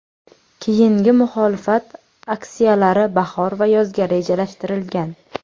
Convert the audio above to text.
Keyingi muxolifat aksiyalari bahor va yozga rejalashtirilgan.